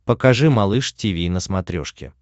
покажи малыш тиви на смотрешке